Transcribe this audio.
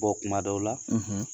kuma dɔw la,